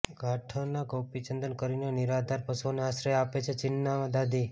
ગાઠના ગોપીચંદન કરીને નિરાધાર પશુઓને આશ્રય આપે છે ચીનનાં દાદી